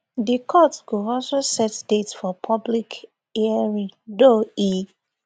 di court go also set date for public hearing though e